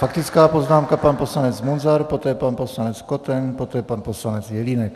Faktická poznámka pan poslanec Munzar, poté pan poslanec Koten, poté pan poslanec Jelínek.